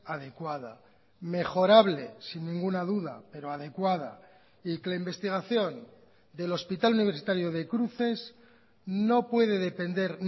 adecuada mejorable sin ninguna duda pero adecuada y que la investigación del hospital universitario de cruces no puede depender